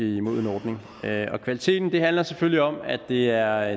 imod en ordning kvaliteten handler selvfølgelig om at det er